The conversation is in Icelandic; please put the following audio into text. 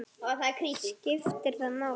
skiptir það máli?